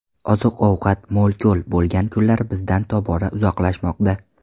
Oziq-ovqat mo‘l-ko‘l bo‘lgan kunlar bizdan tobora uzoqlashmoqda.